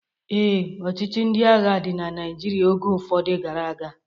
Ee, ọchịchị ndị agha dị na Naijiria oge ụfọdụ gara aga